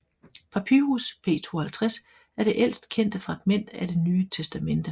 Papyrus P52 er det ældst kendte fragment af Det Ny Testamente